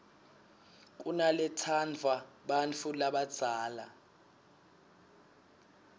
kunaletsandvwa bantfu labadzala